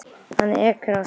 Hann ekur af stað.